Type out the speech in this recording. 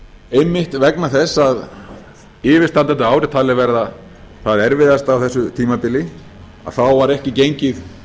einmitt vegna þess að yfirstandandi ár er talið vera það erfiðasta á þessu tímabili var ekki gengið